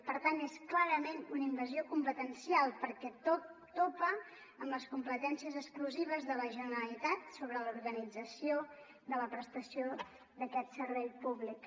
per tant és clarament una invasió competencial perquè topa amb les competències exclusives de la generalitat sobre l’organització de la prestació d’aquest servei públic